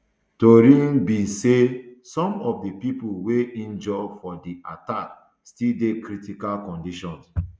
tori um be say some of di pipo wey injure for di attack still dey critical condition